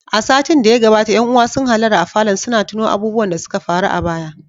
A satin da ya gabata ƴan uwa sun hallara a falon suna tuno abubuwan da suka faru a baya.